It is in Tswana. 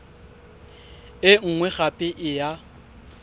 e nngwe gape e ya